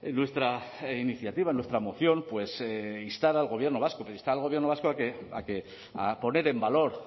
en nuestra iniciativa en nuestra moción instar al gobierno vasco a poner en valor